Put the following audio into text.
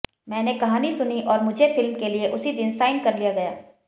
मैंने कहानी सुनी और मुझे फिल्म के लिए उसी दिन साइन कर लिया गया